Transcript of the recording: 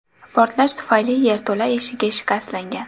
Portlash tufayli yerto‘la eshigi shikastlangan.